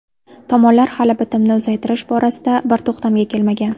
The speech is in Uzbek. Tomonlar hali bitimni uzaytirish borasida bir to‘xtamga kelmagan.